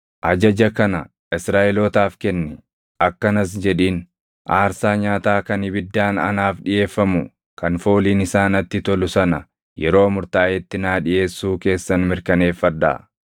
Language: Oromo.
“Ajaja kana Israaʼelootaaf kenni; akkanas jedhiin: ‘Aarsaa nyaataa kan ibiddaan anaaf dhiʼeeffamu kan fooliin isaa natti tolu sana yeroo murtaaʼetti naa dhiʼeessuu keessan mirkaneeffadhaa.’